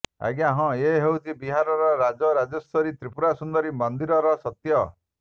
ଆଜ୍ଞା ହଁ ଏ ହେଉଛି ବିହାରର ରାଜ ରାଜେଶ୍ୱରୀ ତ୍ରୀପୁରା ସୁନ୍ଦରୀ ମନ୍ଦିରର ସତ୍ୟ